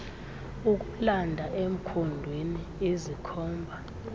ukulanda emkhondweni izikhomba